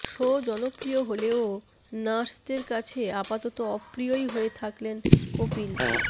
show জনপ্রিয় হলেও নার্সদের কাছে আপাতত অপ্রিয়ই হয়ে থাকলেন কপিল